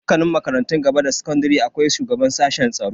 A dukkanin makarantun gaba da sakandare akwai shugaban sashen tsaro.